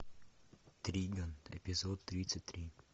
триган эпизод тридцать три